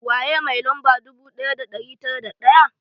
Waye mai lamba dubu ɗaya da ɗari tara da ɗaya?